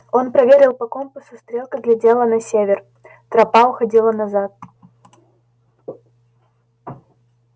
он проверил по компасу стрелка глядела на север тропа уходила назад